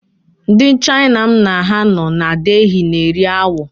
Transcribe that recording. Ndị Chaina m na ha nọ na Delhi na-eri awọ.